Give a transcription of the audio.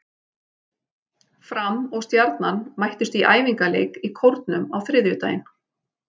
Fram og Stjarnan mættust í æfingaleik í Kórnum á þriðjudaginn.